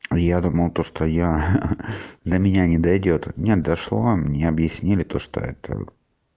я думал то что я ха-ха до меня не дойдёт нет дошло мне объяснили то что это